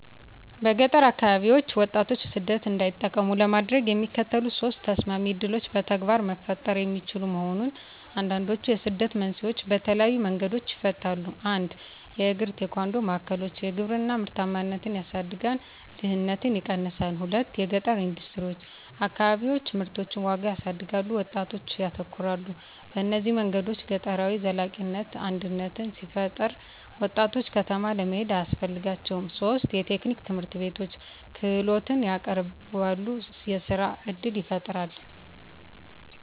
በገጠር አከባቢዎች ወጣቶች ሰደት እንዳይጠቀሙ ለማድረግ፣ የሚከተሉት ሶስት ተሰማሚ ዕድሎች በተግባር መፈጠሩ የሚችሉ መሆን፣ አንዱንድችዉ የስደትን መንስኤዎች በተለየዪ መንገዶች ይፈታል። 1 የእግራ-ቴኳንዶ ማዕከሎች _የግብርና ምርታማነትን ያሳድጋል፣ ድህነትን ይቀነሳል። 2 የገጠረ ኢንደስትሪዎች_ አከባቢዎች ምርቶችን ዋጋ ያሳድጋሉ፣ ወጣቶች ያተኮራሉ። በእነዚህ መንገዶች ገጠራዊ ዘላቂነት አድነት ሲፈጠራ፣ ወጣቶች ከተማ ለመሄድ አያስፈልጋቸውም ; 3 የቴክኒክ ትምህርትቤቶች _ክህሎትን ያቀረበሉ፣ የሥራ እድል ይፈጣራል።